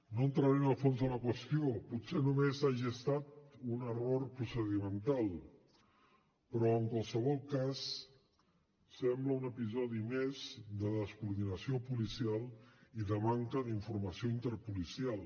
no entraré en el fons de la qüestió potser només hagi estat un error procedimental però en qualsevol cas sembla un episodi més de descoordinació policial i de manca d’informació interpolicial